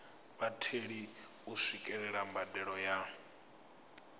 vhatheli u swikelela mbadelo ya